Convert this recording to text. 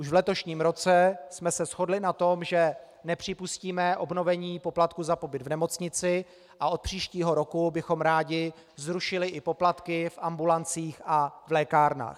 Už v letošním roce jsme se shodli na tom, že nepřipustíme obnovení poplatku za pobyt v nemocnici, a od příštího roku bychom rádi zrušili i poplatky v ambulancích a v lékárnách.